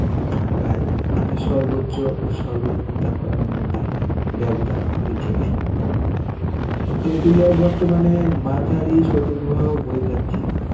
থাকায় তিনি সর্বোচ্চ ও সর্বনিম্ন তাপমাত্রা মধ্যে ব্যবধান কমেছে ভাই তেঁতুলিয়ায় বর্তমানে মাঝারি শৈতব প্রবাহ বয়ে যাচ্ছে.